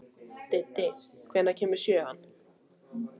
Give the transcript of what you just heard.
Diddi, hvenær kemur sjöan?